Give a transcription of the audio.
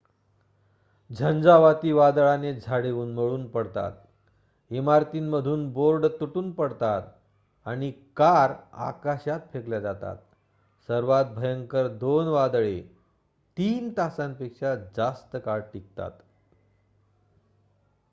झंझावाती वादळाने झाडे उन्मळून पडतात इमारतींमधून बोर्ड तुटून पडतात आणि कार आकाशात फेकल्या जातात सर्वात भयंकर 2 वादळे 3 तासांपेक्षा जास्त काळ टिकतात